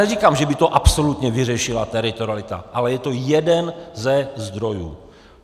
Neříkám, že by to absolutně vyřešila teritorialita, ale je to jeden ze zdrojů.